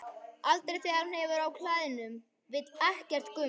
Aldrei þegar hún hefur á klæðum, vill ekkert gums.